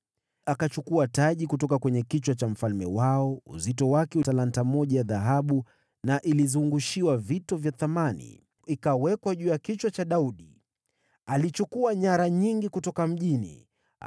Akachukua taji kutoka kwa kichwa cha mfalme wao, lililokuwa na uzito wa talanta moja ya dhahabu, nayo ilizungushiwa vito vya thamani. Ikawekwa juu ya kichwa cha Daudi. Alichukua nyara nyingi kutoka mjini huo.